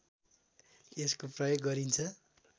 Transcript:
यसको प्रयोग गरिन्छ